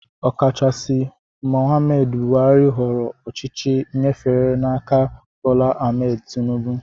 Okachaisi Mohammed Buhari họọrọ ochichi nyefe n'áká Bola Ahmed Tinibu